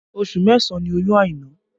Oṣù mẹ́sàn ni oyún Aina